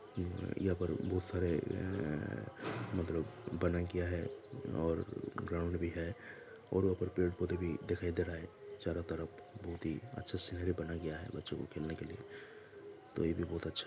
यहा पर बहुत सारा है मतलब बना गया है और ग्राउंड भी है और वह पर पेड़-पौधे भी दिखाई दे रहे हैं चारो तरफ बहुत ही अच्छा सिनेरियो बना गया है बच्चों के खेलने के लिए तो ये बी बहुत अच्छा है ।